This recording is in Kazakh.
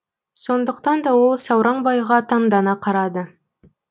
сондықтан да ол сауранбайға таңдана қарады